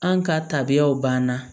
An ka tabiyaw banna